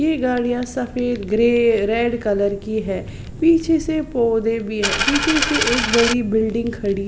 ये गाड़ियां सफेद ग्रे रेड कलर की है पीछे से पौधे भी है पीछे से एक बड़ी बिल्डिंग खड़ी--